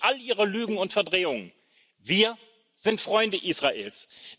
Entgegen all Ihrer Lügen und Verdrehungen Wir sind Freunde Israels.